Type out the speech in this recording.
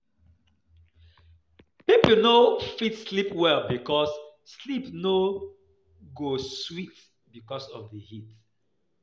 Pipo no go fit sleep well because sleep no go dey sweet because of di heat